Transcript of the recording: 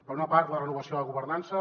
per una part la renovació de governança